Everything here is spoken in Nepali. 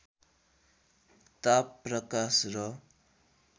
ताप प्रकाश र